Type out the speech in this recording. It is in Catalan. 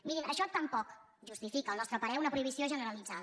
mirin això tampoc justifica al nostre parer una prohibició generalitzada